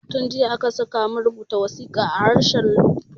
Tun jiya aka sakamu rubuta wasiƙa a harshen fulatanci